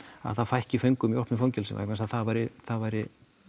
það fækki föngum í opnum fangelsum vegna þess að það væri það væri